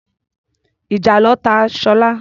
Ìjàlọ ta Sola.